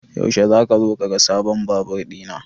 Yaushe zaka zo ka ga sabon Babur ɗina?